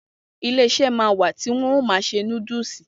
Iléeṣẹ́ ma wà tí wọ́n ma n ṣe núdúsì.